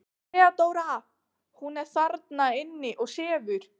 THEODÓRA: Hún er þarna inni og sefur.